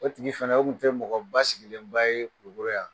O tigi fana u tun tɛ mɔgɔ ba sigilenba ye kulikoro yan